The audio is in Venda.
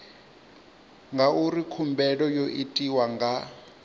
ngauri khumbelo yo itwa nga